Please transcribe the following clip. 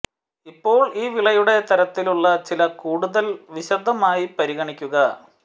ഇപ്പോൾ ഈ വിളയുടെ തരത്തിലുള്ള ചില കൂടുതൽ വിശദമായി പരിഗണിക്കുക